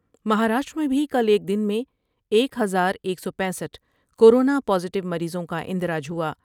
مہاراشٹر میں بھی کل ایک دن میں ایک ہزار ایک سو پینسٹھ کورونا پازیٹیو مریضوں کا اندراج ہوا ۔